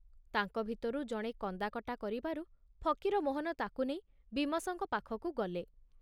ତାଙ୍କ ଭିତରୁ ଜଣେ କନ୍ଦାକଟା କରିବାରୁ ଫକୀରମୋହନ ତାକୁ ନେଇ ବୀମସଙ୍କ ପାଖକୁ ଗଲେ।